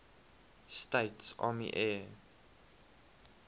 states army air